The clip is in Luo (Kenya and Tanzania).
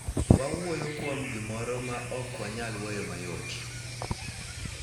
Wawuoyo kuom gimoro ma ok wanyal weyo mayot .